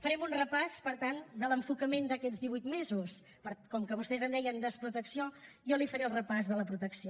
farem un repàs per tant de l’enfocament d’aquests divuit mesos però com que vostès en deien desprotecció jo li faré el repàs de la protecció